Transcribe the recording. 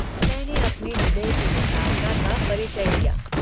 मैने अपने हृदय की विशालता का परिचय दिया।